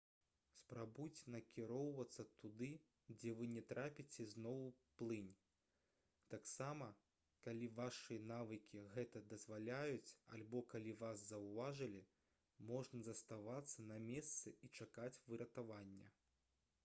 спрабуйце накіроўвацца туды дзе вы не трапіце зноў у плынь таксама калі вашы навыкі гэта дазваляюць альбо калі вас заўважылі можна заставацца на месцы і чакаць выратавання